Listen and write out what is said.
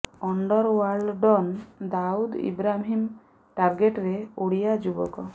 under world don Dawood Ibrahim ଟାର୍ଗେଟରେ ଓଡ଼ିଆ ଯୁବକ